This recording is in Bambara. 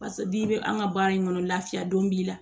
Paseke n'i bɛ an ka baara in kɔnɔ lafiya don b'i la